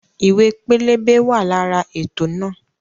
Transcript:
Ìwé pẹlẹbẹ wa lára ètò náà